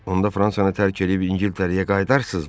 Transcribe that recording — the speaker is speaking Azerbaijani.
Onda Fransanı tərk eləyib İngiltərəyə qayıdarsızmı?